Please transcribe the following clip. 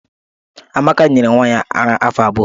Amaka nyere nwa ya ara afọ abụọ.